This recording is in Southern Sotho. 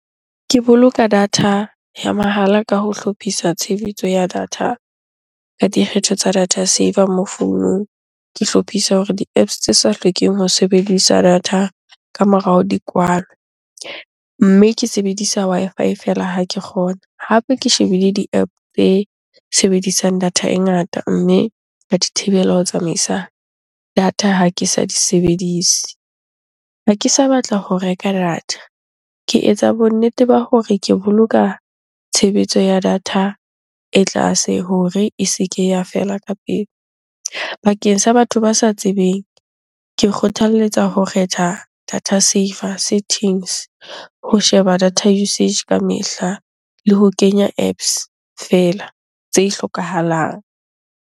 Ke boloka data ya mahala ka ho hlophisa tshebetso ya data ka dikgetho tsa data saver mo founung. Ke hlophisa hore di-Apps tse sa hlokeng ho sebedisa data ka morao, di kwalwe mme ke sebedisa Wi-Fi feela ha ke kgona. Hape ke shebile di-App tse sebedisang data e ngata mme ka di thibela ho tsamaisa data ha ke sa di sebedise. Ha ke sa batla ho reka data, ke etsa bonnete ba hore ke boloka tshebetso ya data e tlase hore e se ke ya fela ka pele. Bakeng sa batho ba sa tsebeng, ke kgothaletsa ho kgetha data saver settings ho sheba data usage ka mehla le ho kenya Apps fela tse hlokahalang.